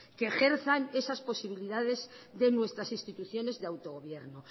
que ejerzan esas posibilidades de nuestras instituciones de autogobierno